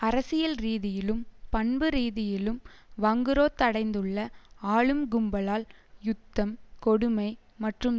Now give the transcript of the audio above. அரசியல் ரீதியிலும் பண்புரீதியிலும் வங்குரோத்தடைந்துள்ள ஆளும் கும்பலால் யுத்தம் கொடுமை மற்றும்